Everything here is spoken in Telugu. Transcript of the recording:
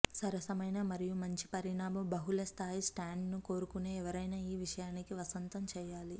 సరసమైన మరియు మంచి పరిమాణపు బహుళస్థాయి స్టాండ్ను కోరుకునే ఎవరైనా ఈ విషయానికి వసంతం చేయాలి